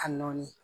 A nɔɔni